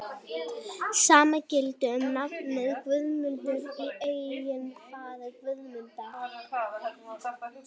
Sama gilti um nafnið Guðmundur, í eignarfalli Guðmundar.